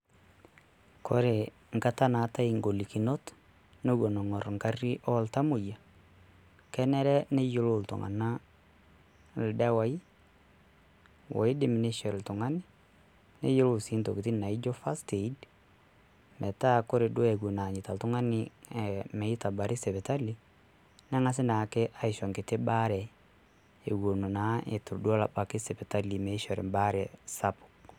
Kore enkata naatae engolikinot nepuo ing'orr egarri iltamoyia kenare neyiolou iltung'anak ildawaii oidim neisho oltung'ani ontoki naijio first Aid metaa ore duo Eton eanyita oltung'ani meitabari sipitali nang'asi naake aisho enkiti baare Eton naa Eton ebaya sipitali meishori ebaare sapuk.